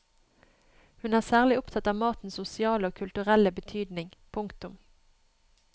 Hun er særlig opptatt av matens sosiale og kulturelle betydning. punktum